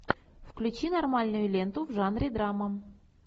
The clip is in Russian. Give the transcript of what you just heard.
включи нормальную ленту в жанре драма